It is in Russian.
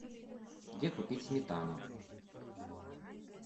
где купить сметану